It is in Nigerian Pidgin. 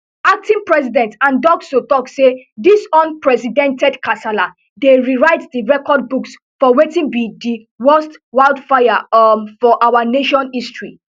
acting president han ducksoo tok say dis unprecedented kasala dey rewrite di record books for wetin be di worst wildfires um for our nation history